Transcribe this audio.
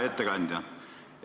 Hea ettekandja!